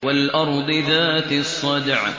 وَالْأَرْضِ ذَاتِ الصَّدْعِ